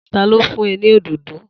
Ta ló fún ẹ ní òdòdó?